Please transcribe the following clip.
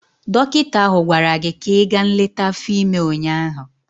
Dọkịta ahụ gwara gị ka ị gaa nleta afọ ime ụnyaahụ!